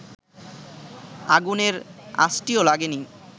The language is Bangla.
আগুনের আঁচটিও লাগেনি